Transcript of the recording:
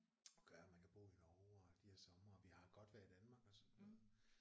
Og gør at man kan bo i Norge og de har somre og vi har et godt vejr i Danmark og sådan noget